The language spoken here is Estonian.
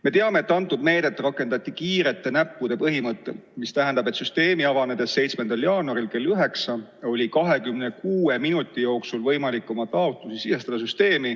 Me teame, et seda meedet rakendati kiirete näppude põhimõttel, mis tähendab seda, et süsteemi avanedes 7. jaanuaril kell 9 oli 26 minuti jooksul võimalik oma taotlusi sisestada.